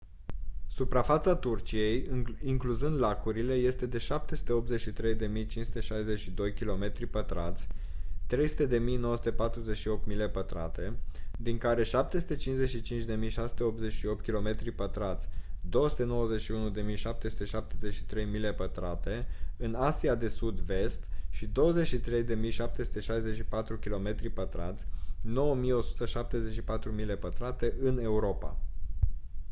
suprafața turciei incluzând lacurile este de 783.562 kilometri pătrați 300.948 mile pătrate din care 755.688 kilometri pătrați 291.773 mile pătrate în asia de sud-vest și 23.764 kilometri pătrați 9.174 mile pătrate în europa